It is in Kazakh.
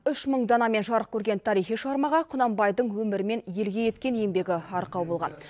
үш мың данамен жарық көрген тарихи шығармаға құнанбайдың өмірі мен елге еткен еңбегі арқау болған